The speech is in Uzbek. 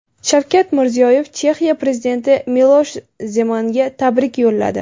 Shavkat Mirziyoyev Chexiya prezidenti Milosh Zemanga tabrik yo‘lladi.